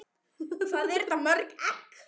Hvað eru þetta mörg egg?